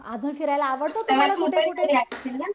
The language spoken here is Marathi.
अजून फिरायला आवडतं तुम्हाला कुठे कुठे?